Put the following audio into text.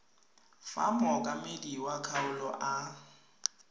fa mookamedi wa kgaolo a